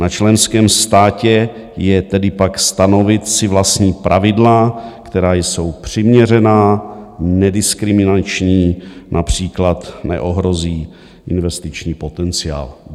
Na členském státě je tedy pak stanovit si vlastní pravidla, která jsou přiměřená, nediskriminační, například neohrozí investiční potenciál.